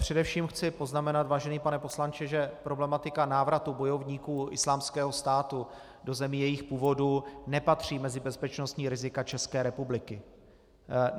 Především chci poznamenat, vážený pane poslanče, že problematika návratu bojovníků Islámského státu do zemí jejich původu nepatří mezi bezpečnostní rizika České republiky.